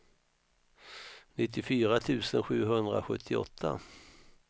nittiofyra tusen sjuhundrasjuttioåtta